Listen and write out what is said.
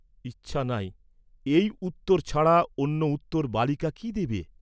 ‘ইচ্ছা নাই’ এই উত্তর ছাড়া অন্য উত্তর বালিকা কি দিবে?